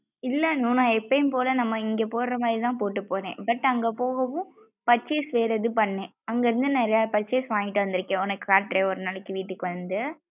இல்ல அனு நா எப்பையும் போல நம்ம இங்க போட்ர மாறி தான் போட்டு போன்னேன். But அங்க போகவும் purchase வேற இது பண்ணே அங்க இருந்து நிறையா purchase வாங்கிட்டு வந்துருக்கேன் உனக்கு காட்றேன் ஒரு நாளைக்கு வீட்டுக்கு வந்து.